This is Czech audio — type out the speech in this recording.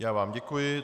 Já vám děkuji.